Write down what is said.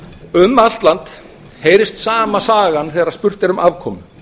um allt land heyrist sama sagan þegar spurt er um afkomu